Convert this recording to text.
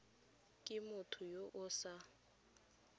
ke motho yo o sa